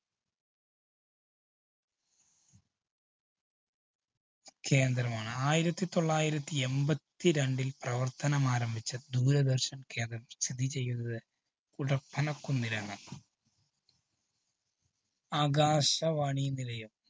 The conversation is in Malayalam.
കേന്ദ്രമാണ്. ആയിരത്തിതൊള്ളായിരത്തി എമ്പത്തിരണ്ടില്‍ പ്രവര്‍ത്തനമാരംഭിച്ച ദൂരദര്‍ശന്‍ കേന്ദ്രം സ്ഥിതിചെയ്യുന്നത് കുടപ്പനക്കുന്നിലാണ്. ആകാശവാണി നിലയം.